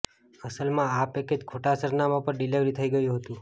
અસલમાં આ પેકેજ ખોટા સરનામા પર ડિલીવર થઈ ગયું હતું